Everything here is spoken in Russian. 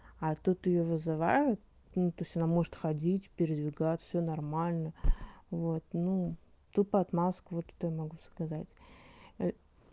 а тут её вызывают ну то есть она может ходить передвигаться всё нормально вот ну тупо отмазка вот это я могу сказать